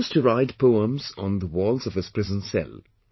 He used to write poems on the walls of his prison cell